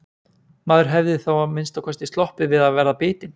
Maður hefði þá að minnsta kosti sloppið við að verða bitinn.